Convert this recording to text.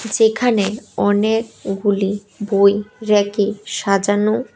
যেখানে অনেকগুলি বই রেকে সাজানো।